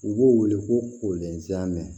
U b'u wele ko ɛnzanmɛ